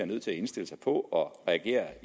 nødt til at indstille sig på at reagere